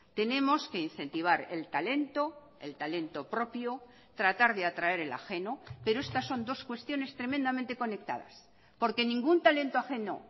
tenemos que incentivar el talento el talento propio tratar de atraer el ajeno pero estas son dos cuestiones tremendamente conectadas porque ningún talento ajeno